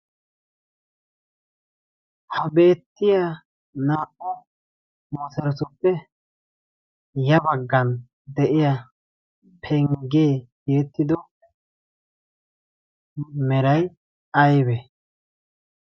ha beettiya naa"u moosarosuppe ya baggan de'iya penggee geettido meray aybe?